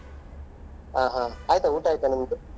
ಹ ಹ ಆಯ್ತಾ ಊಟ ಆಯ್ತಾ ನಿಮ್ದು?